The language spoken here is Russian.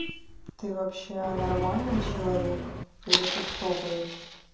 ты вообще нормальный человек или ты кто блять